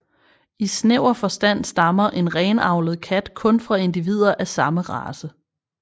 I snæver forstand stammer en renavlet kat kun fra individer af samme race